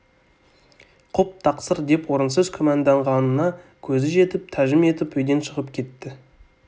құп тақсыр деп орынсыз күмәнданғанына көзі жетіп тәжім етіп үйден шығып кетті